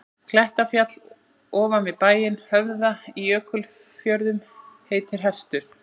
Klettafjall ofan við bæinn Höfða í Jökulfjörðum heitir Hestur.